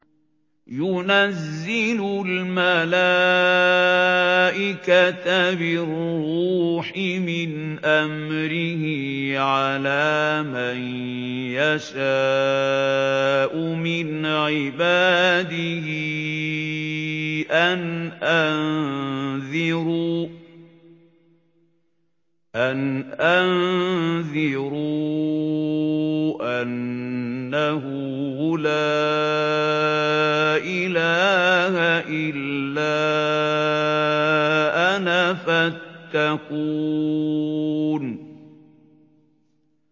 يُنَزِّلُ الْمَلَائِكَةَ بِالرُّوحِ مِنْ أَمْرِهِ عَلَىٰ مَن يَشَاءُ مِنْ عِبَادِهِ أَنْ أَنذِرُوا أَنَّهُ لَا إِلَٰهَ إِلَّا أَنَا فَاتَّقُونِ